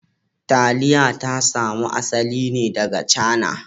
Taliya ta samo asali ne daga Cana